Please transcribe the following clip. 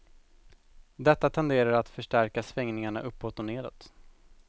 Detta tenderar att förstärka svängningarna uppåt och nedåt.